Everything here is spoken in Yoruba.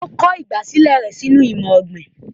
O kọ ìgbàsílẹ̀ rẹ sínú imọ-ogbin."